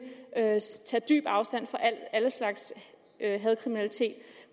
tage dyb afstand fra al slags hadkriminalitet